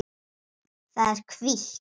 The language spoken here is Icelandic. Það er hvítt.